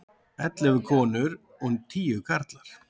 Ellefu konur og tíu karlar.